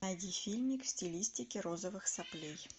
найди фильмик в стилистике розовых соплей